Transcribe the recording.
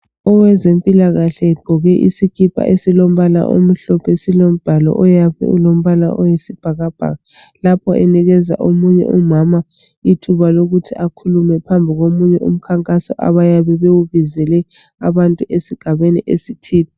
Owezempilakahle egqoke isikipa esilombala omhlophe. Silombhalo oyabe ulombala oyisibhakabhaka lapho enikeza omunye umama ithuba lokuthi akhulume phambi komunye umkhankaso abayabe bewubizele abantu esigabeni esithile.